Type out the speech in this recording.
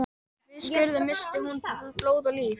Við skurðinn missti hún blóð og líf.